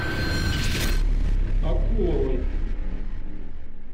окуловой